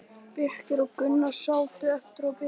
Birkir og Gunnar sátu eftir og biðu.